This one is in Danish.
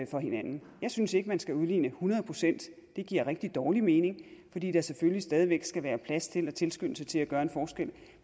for hinanden jeg synes ikke at man skal udligne hundrede procent det giver rigtig dårlig mening fordi der selvfølgelig stadig væk skal være plads til og tilskyndelse til at gøre en forskel